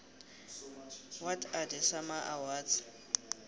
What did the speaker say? what are the sama awards